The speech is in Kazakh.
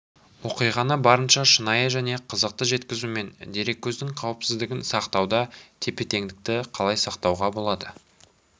оқиғаны барынша шынайы және қызықты жеткізу мен дереккөздің қауіпсіздігін сақтауда тепе-теңдікті қалай сақтауға болады